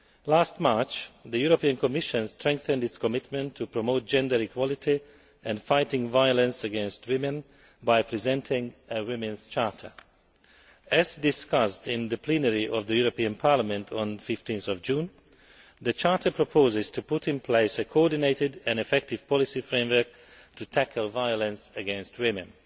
Last March, the Commission strengthened its commitment to promoting gender equality and fighting violence against women by presenting a Women's Charter. As discussed in the plenary of the European Parliament on 15 June, the Charter proposes to put in place a coordinated and effective policy framework to tackle violence against women.